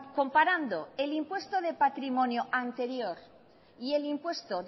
comparando el impuesto de patrimonio anterior y el impuesto